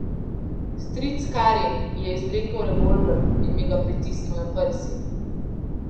Stric Karim je izvlekel revolver in mi ga pritisnil na prsi.